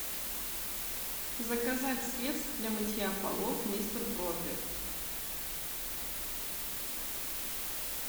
заказать средство для мытья полов мистер пропер